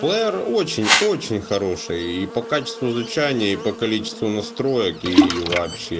плеер очень-очень хороший и по качеству звучания и по количеству настроек и вообще